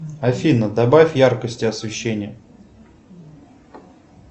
афина добавь яркости освещения